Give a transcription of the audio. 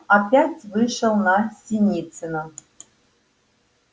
опять вышел на синицына